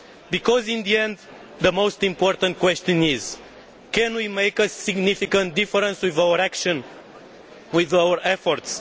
because in the end, the most important question is can we make a significant difference with our actions and our efforts?